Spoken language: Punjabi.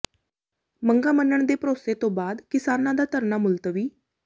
ਮੰਗਾਂ ਮੰਨਣ ਦੇ ਭਰੋਸੇ ਤੋਂ ਬਾਅਦ ਕਿਸਾਨਾਂ ਦਾ ਧਰਨਾ ਮੁਲਤਵੀ